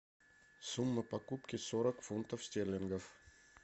сумма покупки сорок фунтов стерлингов